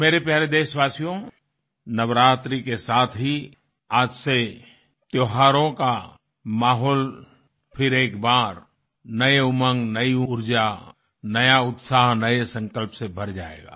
मेरे प्यारे देशवासियो नवरात्रि के साथ ही आज से त्योहारों का माहौल फिर एक बार नयी उमंग नयी ऊर्जा नया उत्साह नए संकल्प से भर जाएगा